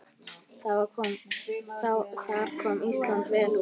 Þar kom Ísland vel út.